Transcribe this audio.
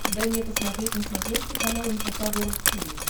дай мне посмотреть на смотрешке канал эн эйч кей волд ти ви